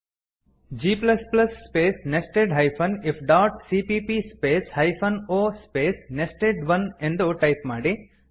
g space nested hyphen if dot cppಸ್ಪೇಸ್ hyphen o space nested one ಎಂದು type ಮಾಡಿ